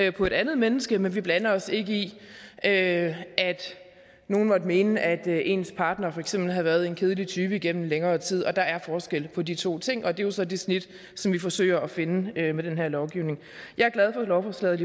et en andet menneske men vi blander os ikke i at nogle måtte mene at ens partner for eksempel havde været en kedelig type igennem længere tid der er forskel på de to ting og det er jo så det snit vi forsøger at finde med den her lovgivning jeg er glad for lovforslaget